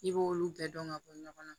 I b'olu bɛɛ dɔn ka bɔ ɲɔgɔn na